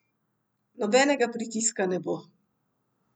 Nobenega pritiska ne bo.